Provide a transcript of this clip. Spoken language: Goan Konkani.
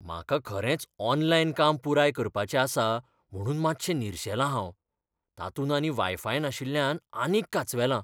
भोंवडेकारः "म्हाका खरेंच ऑनलायन काम पुराय करपाचें आसा म्हुणून मातशें निरशेलां हांव. तातूंत आनी वायफाय नाशिल्ल्यान आनीक कांचवेलां."